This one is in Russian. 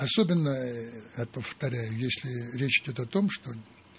особенно я повторяю если речь идёт о том что